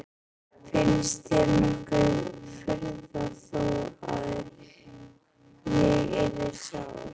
Finnst þér nokkur furða þó að ég yrði sár?